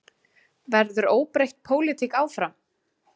Verður óbreytt pólitík áfram?